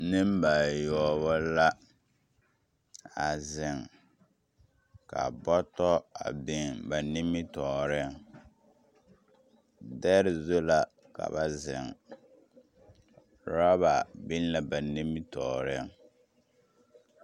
Nembayoɔbo la a zeŋ ka bɔtɔ a biŋ ba nimitɔɔreŋ dɛre zu la ka ba zeŋ. Uraba biŋ la ba nimitɔɔreŋ.